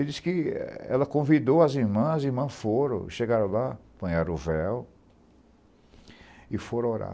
Ela disse que ela convidou as irmãs, as irmãs foram, chegaram lá, apanharam o véu e foram orar.